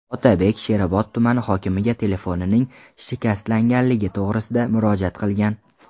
Otabek Sherobod tumani hokimiga telefonining shikastlanganligi to‘g‘risida murojaat qilgan.